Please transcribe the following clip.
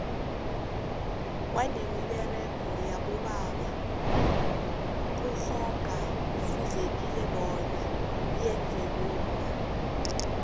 kwanemiberego yabobaba kungoka fuzeki bona yenzwe bomma